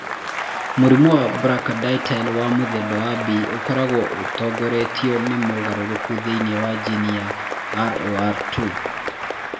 Mũrimũ wa brachydactyly wa mũthemba wa B ũkoragwo ũtongoretio nĩ mogarũrũku thĩinĩ wa jini ya ROR2.